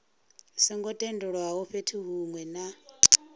songo tendelwaho fhethu hunwe na